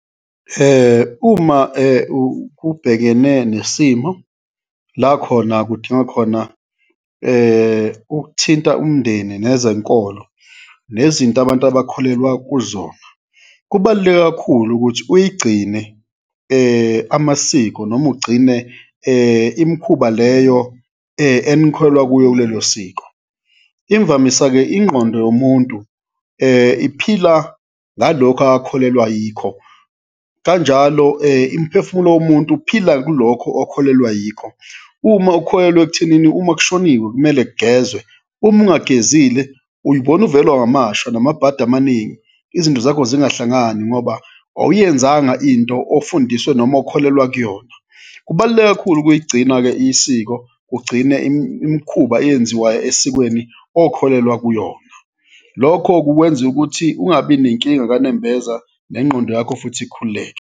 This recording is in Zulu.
Uma ubhekene nesimo la khona kudinga khona ukuthinta umndeni nezenkolo nezinto abantu abakholelwa kuzona, kubaluleke kakhulu ukuthi uyigcine amasiko noma ugcine imikhuba leyo enikholelwa kuyo kulelo siko. Imvamisa-ke ingqondo yomuntu iphila ngalokhu akakholelwa yikho, kanjalo imphefumulo womuntu uphila kulokho okholelwa yiko, uma ukholelwa ekuthenini uma kushoniwe kumele kugezwe, uma ungagezile uyibona uvelelwa ngamashwa namabhadi amaningi, izinto zakho zingahlangani ngoba awuyenzanga into ofundiswe noma okholelwa kuyona. Kubaluleke kakhulu ukuyigcina-ke isiko, ugcine imikhuba eyenziwayo esikweni okholelwa kuyona, lokho kukwenza ukuthi ungabi nenkinga kanembeza nengqondo yakho futhi ikhululeke.